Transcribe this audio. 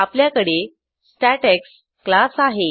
आपल्याकडे स्टॅटेक्स क्लास आहे